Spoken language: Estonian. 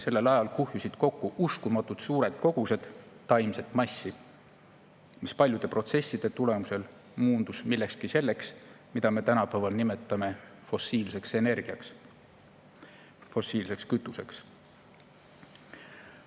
Sellel ajal kuhjusid kokku uskumatult suured kogused taimset massi, mis paljude protsesside tulemusel muundus millekski selleks, mida me tänapäeval nimetame fossiilseks energiaks, fossiilseks kütuseks.